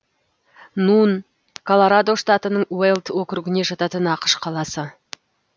нун колорадо штатының уэлд округіне жататын ақш қаласы